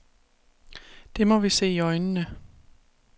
Det må vi se i øjnene.